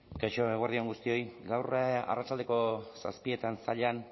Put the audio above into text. kaixo eguerdi on guztioi gaur arratsaldeko zazpietan zallan